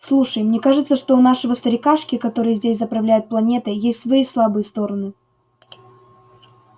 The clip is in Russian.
слушай мне кажется что у нашего старикашки который здесь заправляет планетой есть свои слабые стороны